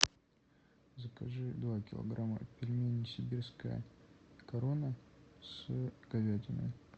закажи два килограмма пельменей сибирская корона с говядиной